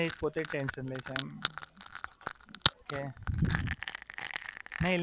ના, એટલે એ પોતે જ ટેન્શન લે છે.